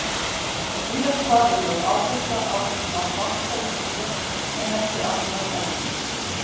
Víðast hvar er lögð áhersla á að banka í tré en ekki annað efni.